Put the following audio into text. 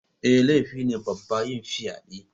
Eh, laifi ne babba yin fyade6